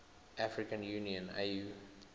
african union au